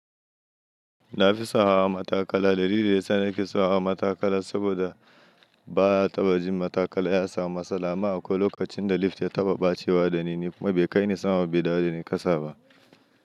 Na fi son hawa matakala. Dalili yasa nake son hawa matakala saboda ba a taɓa jin matakala ya samu matsala. Amma a kwai lokacin da lift ya taɓa ɓacewa da ni kuma bai kai ni sama ba dawo dani ƙasa ba.